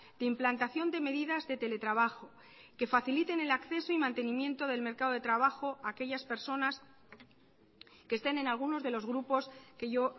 de implantación de medidas de teletrabajo que faciliten el acceso y mantenimiento del mercado de trabajo a aquellas personas que estén en algunos de los grupos que yo